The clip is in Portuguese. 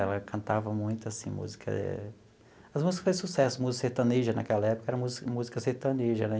Ela cantava muito, assim, música... As músicas que fez sucesso, música sertaneja naquela época, era música música sertaneja, né?